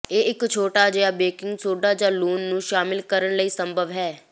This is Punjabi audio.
ਇਹ ਇੱਕ ਛੋਟਾ ਜਿਹਾ ਬੇਕਿੰਗ ਸੋਡਾ ਜ ਲੂਣ ਨੂੰ ਸ਼ਾਮਿਲ ਕਰਨ ਲਈ ਸੰਭਵ ਹੈ